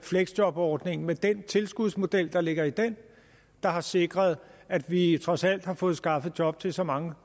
fleksjobordning med den tilskudsmodel der ligger i den der har sikret at vi trods alt har fået skaffet job til så mange